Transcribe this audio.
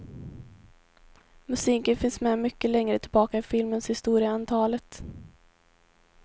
Musiken finns med mycket längre tillbaka i filmens historia än talet.